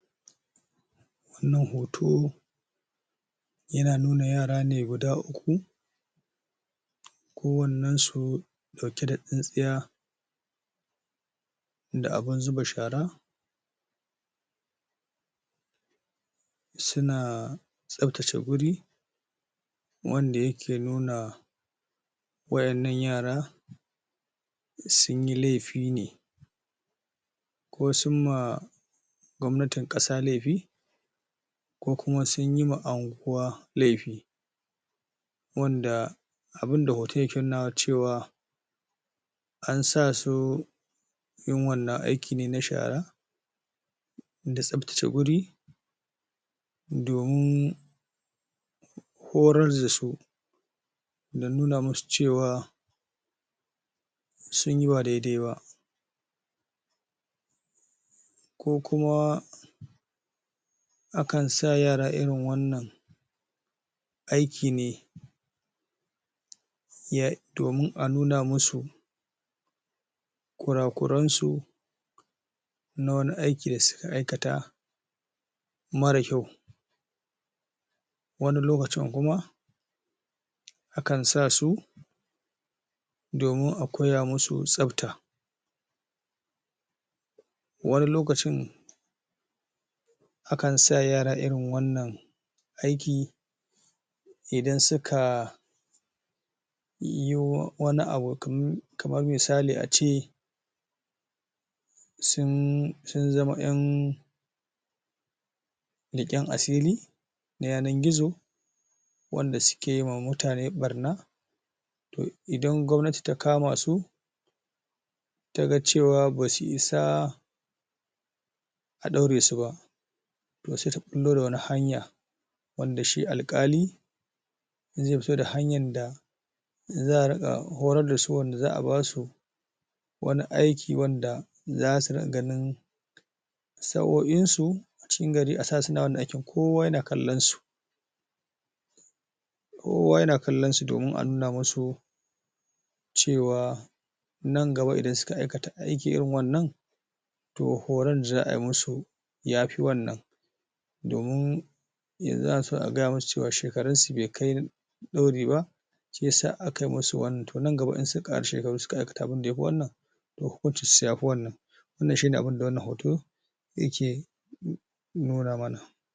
Wannan hoto, yana nuna yara ne guda uku ko wannan su, dauke da tsinsiya da abun zuba shara suna sabtace guri wanda yake nuna waennan yara sun yi lefi ne ko sun ma gwamnatin kasa lefi ko kuma sun yi wa anhuwa lefi wanda abun da hoton ke nunawa cewa an sa su yin wannan aiki ne na shara da tsabtace guri domin horar da su da nuna musu cewa sun yi ba daidai ba. Ko kuma akan sa yara irin wannan aiki ne ya, domin a nuna musu kurakuran su, na wane aiki da suka aikata marar kyau wane lokacin kuma, akan sa su domin a koya musu tsabta. wane lokacin akan sa yara irin wannan aiki idan suka yi wane abu kaman misali a ce sun, sun zama yan gizo wanda suke yi wa mutane barna idan gwamnati ta kama su, taga cewa basuyi sa a daure su ba toh se ta bullo da wane hanya wanda shi alkali ze fito da hanyan da za a dinga horar da su, wanda za a ba su wane aiki wanda za su so'oin su a cikin gari, a sa suna wanan aikin kowa yana kallon su. Kowa yana kallon su domin a nuna musu cewa nan gaba idan suka aikata aiki irin wannan, toh horon za a musu yafi wannan domin yanzu ana so a gaya musu shekarun u be kai dauri ba se sa aka musu wannan, toh nan gaba in suka kara shekaru, suka aikata abin da ya fi wannan, toh ya fi wannan wannan shine abun da wannan hoto yake